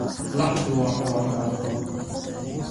Laxdu waa xoolo nabdoon.